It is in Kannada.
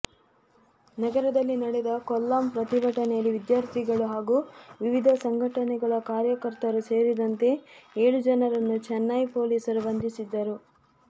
ನಗರದಲ್ಲಿ ನಡೆದ ಕೋಲಂ ಪ್ರತಿಭಟನೆಯಲ್ಲಿ ವಿದ್ಯಾರ್ಥಿಗಳು ಹಾಗೂ ವಿವಿಧ ಸಂಘಟನೆಗಳ ಕಾರ್ಯಕರ್ತರು ಸೇರಿದಂತೆ ಏಳು ಜನರನ್ನು ಚೆನ್ನೈ ಪೊಲೀಸರು ಬಂಧಿಸಿದ್ದರು